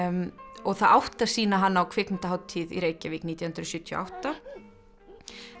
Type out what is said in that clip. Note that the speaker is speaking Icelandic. og það átti að sýna hana á kvikmyndahátíð í Reykjavík nítján hundruð sjötíu og átta en